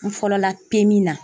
N fɔlɔ la na.